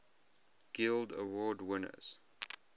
guild award winners